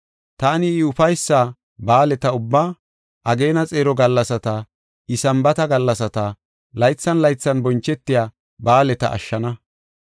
Taani I ufaysa ba7aaleta ubbaa, ageena xeero gallasata, I Sambaata gallasata, laythan laythan bonchetiya ba7aaleta ashshana.